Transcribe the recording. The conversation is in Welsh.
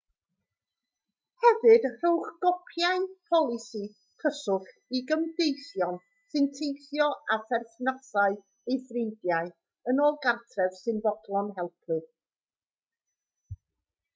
hefyd rhowch gopïau polisi/cyswllt i gymdeithion sy'n teithio a pherthnasau neu ffrindiau yn ôl gartref sy'n fodlon helpu